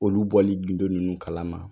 Olu bɔli gindo ninnu kala ma